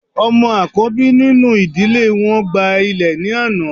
Ọmọ akọbi ninu idile wọn gba ilẹ ni ana